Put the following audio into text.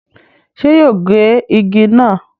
ṣé yóò gé igi náà?